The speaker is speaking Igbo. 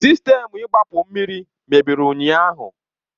Sistemu igbapu mmiri mebiri ụnyahụ.